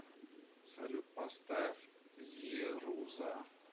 салют поставь зируза